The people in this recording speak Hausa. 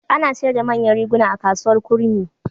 Ana sayar da manyan riguna a Kasuwar Kurmi.